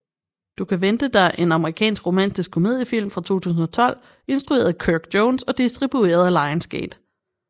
Du kan vente dig er en amerikansk romantisk komediefilm fra 2012 instrueret af Kirk Jones og distribueret af Lionsgate